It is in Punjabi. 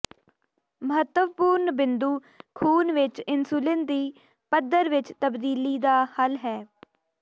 ਮਹੱਤਵਪੂਰਨ ਬਿੰਦੂ ਖੂਨ ਵਿੱਚ ਇਨਸੁਲਿਨ ਦੀ ਪੱਧਰ ਵਿੱਚ ਤਬਦੀਲੀ ਦਾ ਹੱਲ ਹੈ